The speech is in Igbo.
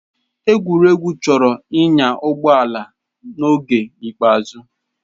Egwurugwu chọrọ ịnya ụgbọ ala n'oge ikpeazụ.